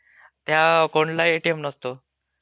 त्या अकाऊंटला एटीएम नसतो.